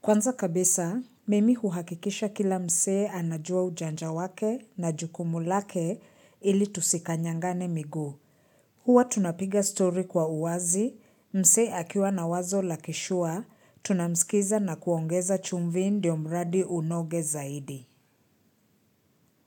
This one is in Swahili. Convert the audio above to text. Kwanza kabisa, mimi huhakikisha kila msee anajua ujanja wake na jukumulake ili tusikanyangane miguu. Huwa tunapiga story kwa uwazi, mse akiwa na wazo lakishure, tunamsikiza na kuongeza chumvi ndiomradi unoge zaidi.